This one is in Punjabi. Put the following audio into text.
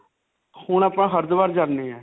ਹੁਣ ਆਪਾਂ ਹਰਿਦ੍ਵਾਰ ਜਾਨੇ ਹਾਂ.